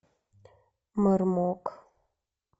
мармок